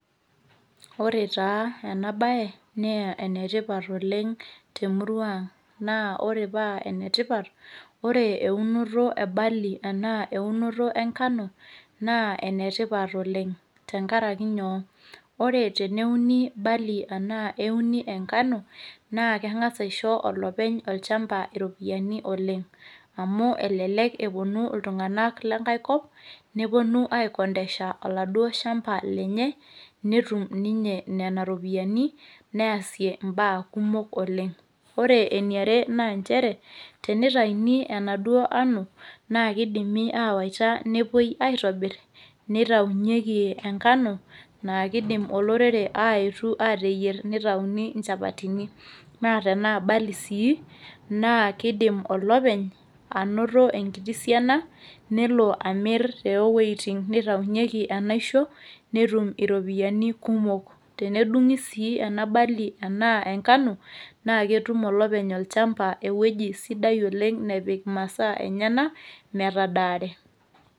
ore taa ena bae na enetipat oleng temurua ang. naa ore paa enetipart, ore eunoto e berley anaa eunoto engano naa enetipat oleng. tenkaraki inyoo, ore teneuni berley anaa eneuni engano, naa kengas aisho olopeny olchampa iropiyiani oleng, amu elelek epuonu iltunganak lenkae kop nepuoni aikondesha oladuoo shaampa lenye, netum ninye nena ropiyiani, neesie baa kumok oleng. ore eniare na nchere, tenitayuni endauo ano, na kidimi awaita nepuoi aitobir nitayu yieki engano, naa kidim olorereaayetu aateyier nitayuni nchapatini. naaa tenaa barley sii kidim olopeny anoto enkiti siana nelo amir too wuejitin nitayuniyieki enaisho, netum iropiyiani kumok, tenedungi sii ele shampa naa ketum olopeny ewueji nepik intokitin enyenak metadaare.